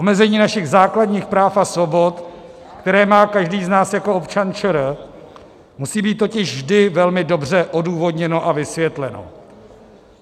Omezení našich základních práv a svobod, které má každý z nás jako občan ČR, musí být totiž vždy velmi dobře odůvodněno a vysvětleno.